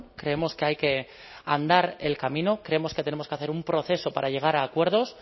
creemos que hay que andar el camino creemos que tenemos que hacer un proceso para llegar a acuerdos